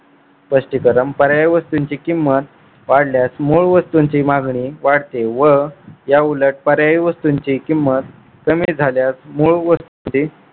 स्पष्टीकरण पर्यायी वस्तूंची किंमत वाढल्यास मूळ वस्तूंची मागणी वाढते. व याउलट पर्याय वस्तूंची किंमत कमी झाल्यास मूळ वस्तूंची